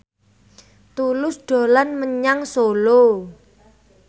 Tulus dolan menyang Solo